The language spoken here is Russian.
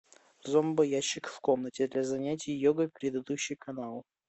зомбоящик в комнате для занятия йогой предыдущий канал